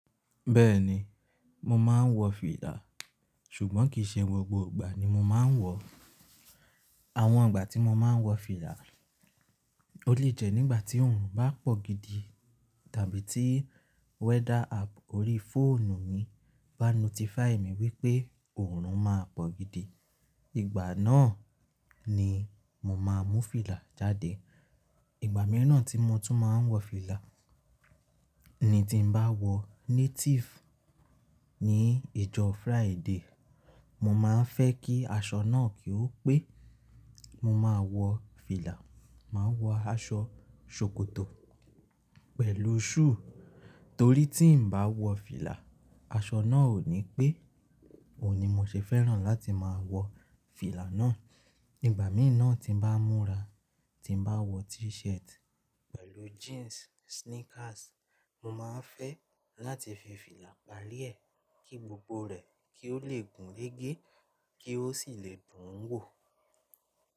Bẹ́ẹ̀ni, mo máa ń wọ fìlà, ṣùgbọ́n kì í ṣe gbogbo ìgbà ni mo máa ń wọ̀. Àwọn ìgbà tí mo máa ń wọ fìlà, ó lè jẹ́ nígbà tí òòrùn bá pọ̀ gidi tàbí tí weather app orí fóònù mi bá notify mi wípé òòrùn máa pọ̀ gidi. Ìgbà náà ni mo máa mú fìlà jáde. Ìgbà mìíràn tí mo tún máa ń wọ fìlà ni tí n bá wọ native ní ìjọ Friday. Mo máa ń fẹ́ kí aṣọ náà kí ó pé, mo máa wọ fìlà, máa wọ aṣọ ṣòkòtò pẹ̀lú shoe. Torí tí n bá wọ fìlà, aṣọ náà ò ní pé, òní mo ṣe fẹ́ràn láti máa wọ fìlà náà. Ìgbà mì na tí n bá múra, tí n bá wọ t-shirt pẹ̀lú jeans, sneakers, mo máa ń fẹ́ láti fi fìlà pari ẹ, kí gbogbo rẹ̀ kí ó lè gùn rege kí ó sì lè dùn ún wò.